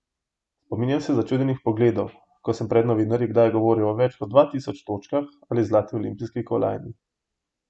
Spominjam se začudenih pogledov, ko sem pred novinarji kdaj govoril o več kot dva tisoč točkah ali zlati olimpijski kolajni.